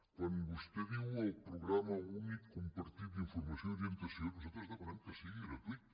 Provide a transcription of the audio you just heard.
quan vostè diu el programa únic compartit d’informació i orientació nosaltres demanem que sigui gratuït